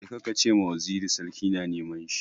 Je ka ce ma waziri sarki na neman shi!